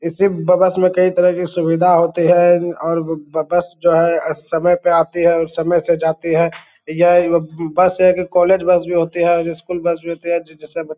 इसी बस में कई तरह की सुविधा होती है और बस जो है समय पे आती है और समय से जाती है यह बस एक कॉलेज बस भी होती है और स्कूल बस भी होती है जिसे --